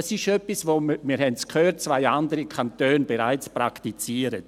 Das ist etwas – wir haben es gehört –, das zwei andere Kantone bereits praktizieren.